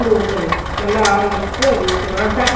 எல்லாமே சோறு சமைக்கலாம் எல்லாம் பண்ணலாம்